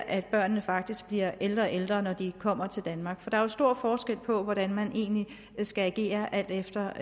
at børnene faktisk bliver ældre og ældre når de kommer til danmark der er jo stor forskel på hvordan man skal agere alt efter